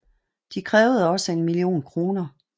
De krævede også en million kroner